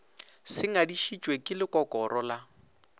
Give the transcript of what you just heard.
se ngadišitšwe ke lekokoro la